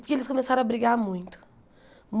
Porque eles começaram a brigar muito.